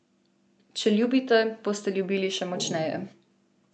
Če ljubite, boste ljubili še močneje.